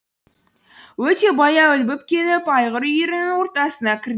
өте баяу ілбіп келіп айғыр үйірінің ортасына кірді